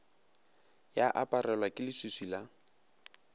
ya aparelwa ke leswiswi la